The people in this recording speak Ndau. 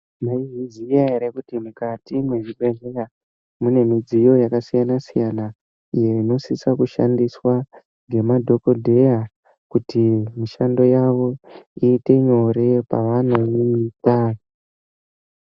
Mayizviziya ere kuti mukati mezvibhedhlera munemidziyo yakasiyana-siyana iyo inosisa kushandiswa ngemadhokodheya kuti mishando yavo iyite nyore pavanoida.